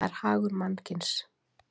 það er hagur mannkynsins.